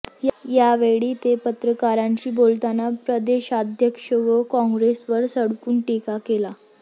यावेळी ते पत्रकारांशी बोलताना प्रदेशाध्यक्ष व कॉंग्रेसवर सडकून टीका केली